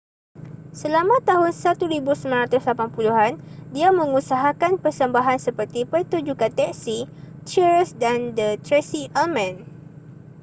selama tahun 1980 an dia mengusahakan persembahan seperti pertunjukkan teksi cheers dan the tracey ullman